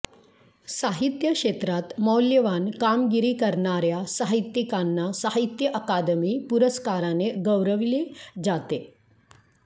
साहित्य क्षेत्रात मौल्यवान कामगिरी करणाऱ्या साहित्यिकांना साहित्य अकादमी पुरस्काराने गौरविले जाते